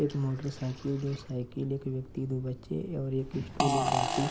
एक motorcycle दो cycle एक व्यक्ति दो बच्चे और एक स्टूल एक बाल्टी --